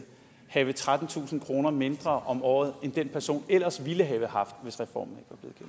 have trettentusind kroner mindre om året end den person ellers ville have haft hvis reformen